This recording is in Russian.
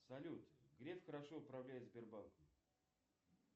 салют греф хорошо управляет сбербанком